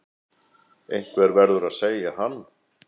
Einhver verður að segja hann.